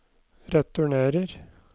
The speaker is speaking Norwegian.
returnerer